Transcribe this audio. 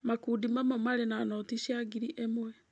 Makundi mamwe marĩ na noti cia ngiri ĩmwe.